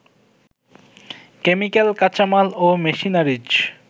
chemical, কাঁচামাল ও machineries